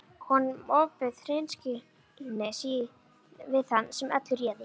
Honum ofbauð hreinskilni sín við þann sem öllu réði.